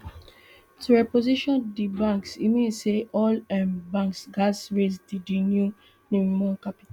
to reposition di banks e mean say all um banks gatz raise di di new minimum capital